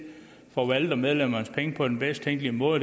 forvalter medlemmernes penge på den bedst tænkelige måde og